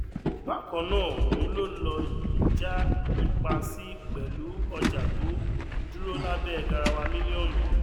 bákan náà ohun ló lọ yìí já ipa sí pẹlú ọjà tó dúró lábẹ garawa mílíọnù